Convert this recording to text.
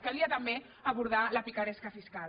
calia també abordar la picaresca fiscal